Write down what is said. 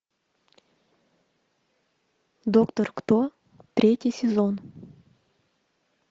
доктор кто третий сезон